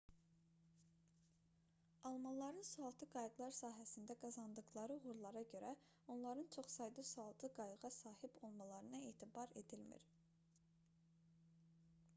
almanların sualtı qayıqlar sahəsində qazandıqları uğurlara görə onların çox sayda sualtı qayığa sahib olmalarına etibar edilmir